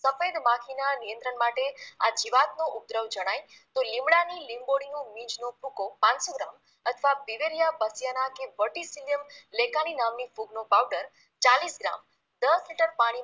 સફેદ માખીના નિયંત્રણ માટે આ જીવાતનો ઉપદ્રવ જણાય તો લીમડાની લિંબોળીની લીંચનો ભૂકો પાનસો ગ્રામ અથવા બીવેનિયા પસ્યાના કી વર્ટીસિલિયમ લેકાની નામની ફૂગનો powder ચાલીસ ગ્રામ દસ લિટર પાણીમાં